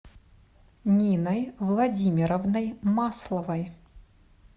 ниной владимировной масловой